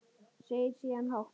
Segir síðan hátt